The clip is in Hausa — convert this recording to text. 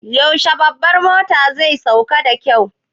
Yaushe babbar motan zai sauƙar da kayan?